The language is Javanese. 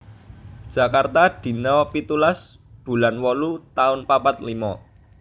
Jakarta dina pitulas bulan wolu taun papat limo